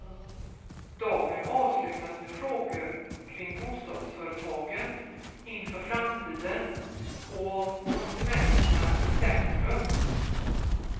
Dagen avslutas med frågor kring bostadsföretagen inför framtiden, och om konsumenterna i centrum.